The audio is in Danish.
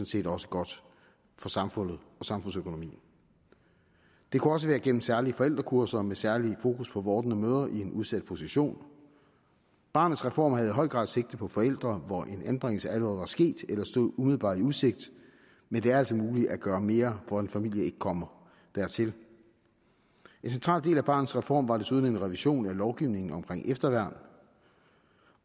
set også godt for samfundet og samfundsøkonomien det kunne også være gennem særlige forældrekurser med særligt fokus på vordende mødre i en udsat position barnets reform havde i høj grad sigte på forældre hvor en anbringelse allerede var sket eller stod umiddelbart i udsigt men det er altså muligt at gøre mere for at en familie ikke kommer dertil en central del af barnets reform var desuden en revision af lovgivningen om efterværn